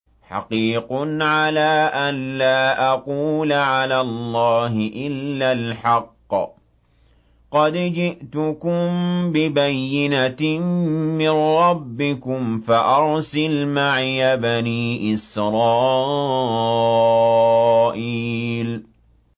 حَقِيقٌ عَلَىٰ أَن لَّا أَقُولَ عَلَى اللَّهِ إِلَّا الْحَقَّ ۚ قَدْ جِئْتُكُم بِبَيِّنَةٍ مِّن رَّبِّكُمْ فَأَرْسِلْ مَعِيَ بَنِي إِسْرَائِيلَ